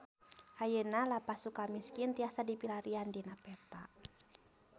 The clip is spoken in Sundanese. Ayeuna Lapas Sukamiskin tiasa dipilarian dina peta